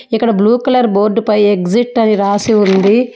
ఇక్కడ blue colour board పై exit అని రాసి ఉంది.